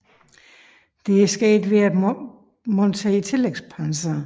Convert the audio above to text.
Dette er opnået ved at montere tillægspanser